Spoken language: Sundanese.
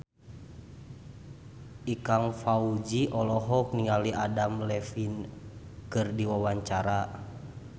Ikang Fawzi olohok ningali Adam Levine keur diwawancara